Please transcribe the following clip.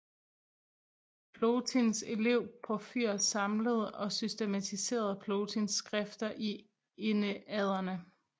Plotins elev Porfyr samlede og systematiserede Plotins skrifter i Enneaderne